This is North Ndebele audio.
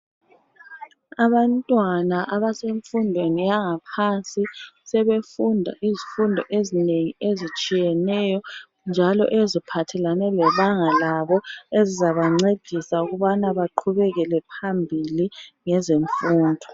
Abantwana abasemfundweni yangaphansi sebefunda izifundo ezinengi ezitshiyeneyo njalo eziphathelane lebanga labo ezizabancedisa ukubana baqhubekele phambili ngezemfundo .